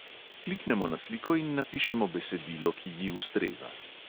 Kliknemo na sliko in napišemo besedilo, ki ji ustreza.